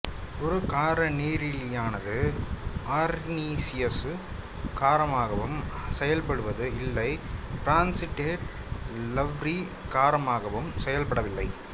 ஒரு காரநீரிலியானது அர்ரீனியசு காரமாகவும் செயல்படுவது இல்லை பிரான்சிடெட் லவ்ரி காரமாகவும் செயல்படவில்லை